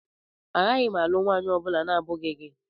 Agaghị m alụ nwaanyị ọ bụla na-abụghị gị.